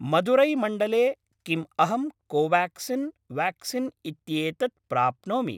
मदुरै मण्डले किम् अहं कोवाक्सिन् व्याक्सीन् इत्येतत् प्राप्नोमि?